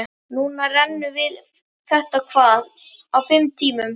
Núna rennum við þetta hvað, á fimm tímum?